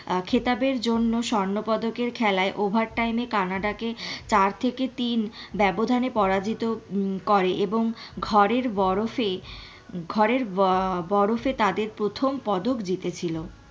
খেতাবের জন্য স্বর্ণ পদকের খেলায় overtime এ কানাডা কে চার থেকে তিন ব্যাবধানে পরাজিত উহ করে এবং ঘরের বরফে ঘরের ববরফে তাদের প্রথম পদক জিতে ছিল।